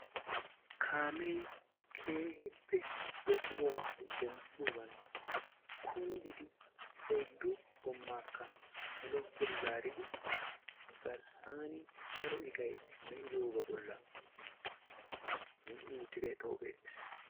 kaamee keehippe deexxidoogaappe denddoogan kunddidi oyddu goomaakka saluwa pude zaaridi garssan daro iqqay de'iyoogaa bollan issi zini utidi tawu beetees.